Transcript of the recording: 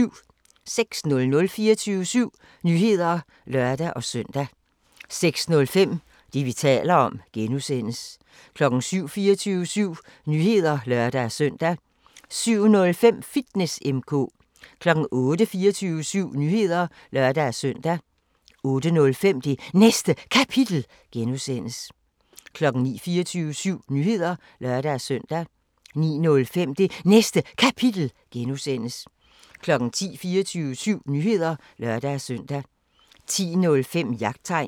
06:00: 24syv Nyheder (lør-søn) 06:05: Det, vi taler om (G) 07:00: 24syv Nyheder (lør-søn) 07:05: Fitness M/K 08:00: 24syv Nyheder (lør-søn) 08:05: Det Næste Kapitel (G) 09:00: 24syv Nyheder (lør-søn) 09:05: Det Næste Kapitel (G) 10:00: 24syv Nyheder (lør-søn) 10:05: Jagttegn